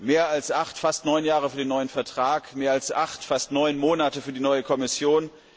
Mehr als acht, fast neun Jahre für den neuen Vertrag, mehr als acht, fast neun Monate für die neue Kommission.